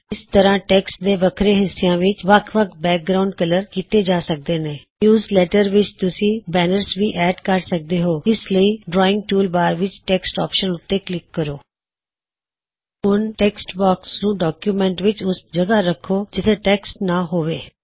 ਇਸ ਤਰਹ ਟੈੱਕਸਟ ਦੇ ਵੱਖਰੇ ਹਿੱਸਿਆਂ ਵਿੱਚ ਵੱਖ ਵੱਖ ਬੈਕਗਰਾਉਨਡ ਕਲਰ ਕੀਤੇ ਜਾ ਸਕਦੇ ਨੇ ਨਿਉਜ਼ਲੈੱਟਰ ਵਿੱਚ ਤੁਸੀ ਬੈਨਰਸ ਵੀ ਐਡ ਕਰ ਸਕਦੇ ਹੋਂ ਇਸ ਲਈ ਡ੍ਰੌਇਂਗ ਟੂਲ ਬਾਰ ਵਿੱਚ ਟੈੱਕਸਟ ਔਪਸ਼ਨ ਉੱਤੇ ਕਲਿਕ ਕਰੋ ਹੁਣ ਟੈੱਕਸ੍ਟਬੌਕ੍ਸ ਨੂੰ ਡੌਕਯੁਮੈੱਨਟ ਵਿੱਚ ਓਸ ਜਗਹ ਰਖੋ ਜਿੱਥੇ ਟੈੱਕਸਟ ਨ ਹੋਵੇ